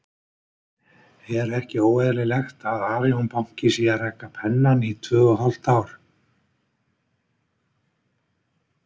Er ekki óeðlilegt að Arion banki sé að reka Pennann í tvö og hálft ár?